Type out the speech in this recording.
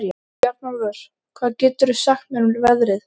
Bjarnólfur, hvað geturðu sagt mér um veðrið?